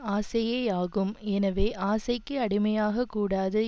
ஆசையேயாகும் எனவே ஆசைக்கு அடிமையாகக் கூடாது